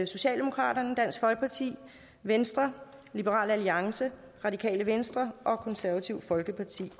socialdemokraterne dansk folkeparti venstre liberal alliance radikale venstre og det konservative folkeparti